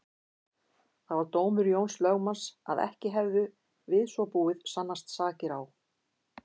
Það var dómur Jóns lögmanns að ekki hefðu við svo búið sannast sakir á